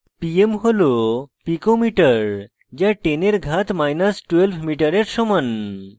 pm হল pico metre যা 10 এর ঘাত মাইনাস 12 metre সমান